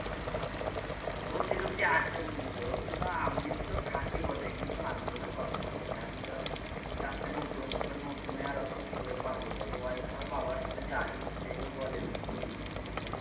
সবজি টবজি আছে বুঝলি তো কিন্তু আমি তো খাঁটি বটে কিন্তু আমি তো ধর পড়াশোনা করতাম এবার চাষে নতুন এবার নতুন এ আর অত কি করে পারব বল ওয়াই ধর বাবার সাথে যায় যেয়ে টো বলে ওই টো করি বুঝলি?